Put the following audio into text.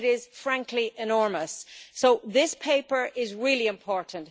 It is frankly enormous, so this paper is really important.